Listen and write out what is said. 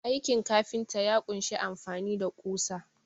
Aikin kafinta ya kunshi amfani da ƙusa.